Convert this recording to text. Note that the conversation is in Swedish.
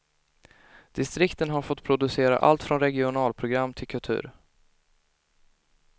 Distrikten har fått producera allt från regionalprogram till kultur.